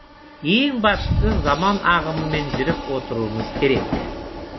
ең бастысы заман ағымымен жүріп отыруымыз керек